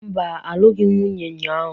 Mba, alụghị m nwunye ụnyahụ.